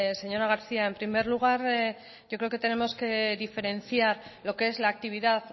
señora garcía en primer lugar yo creo que tenemos que diferenciar lo que es la actividad